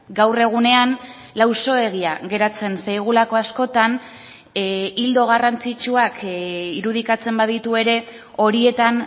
gaur egunean lausoegia geratzen zaigulako askotan ildo garrantzitsuak irudikatzen baditu ere horietan